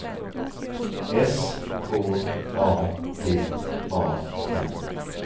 S K A D A N